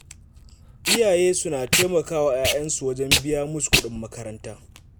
Iyaye suna taimaka wa ƴaƴansu wajen biya musu kuɗin makaranta.